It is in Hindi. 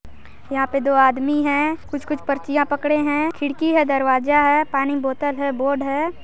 यहा पे दो आदमी है कुछ कुछ पर्चियाँ पकड़े है खिड़की है दरवाजा है पानी की बोतल है बोर्ड है।